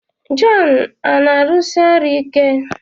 Jọn a na-arụsi ọrụ ike?